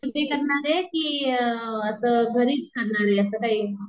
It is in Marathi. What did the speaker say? मध्ये करणारे कि घरीच करणारे असं काही?